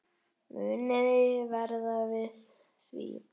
Muniði verða við því?